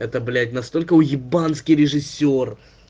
это блять настолько уебанский режиссёр